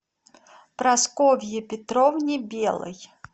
прасковье петровне белой